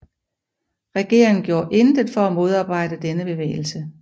Regeringen gjorde intet for at modarbejde denne bevægelse